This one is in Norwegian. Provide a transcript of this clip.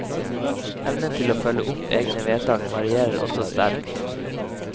Evnen til å følge opp egne vedtak varierer også sterkt.